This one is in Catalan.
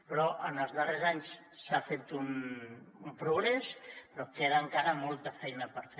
però en els darrers anys s’ha fet un progrés però queda encara molta feina per fer